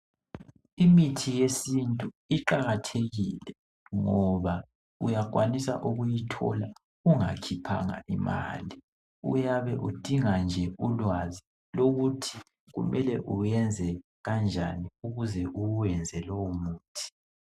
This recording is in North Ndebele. Imithi yesintu iqalathekile ngoba uyakwanisa ukuyithola ungakhiphanga imali. Uyabe udinga ulwazi nje lokuthi kumele uyenze kanjani ukuze uyenze lowomuthi.